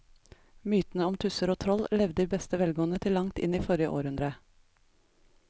Mytene om tusser og troll levde i beste velgående til langt inn i forrige århundre.